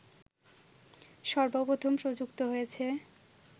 সর্বপ্রথম প্রযুক্ত হয়েছে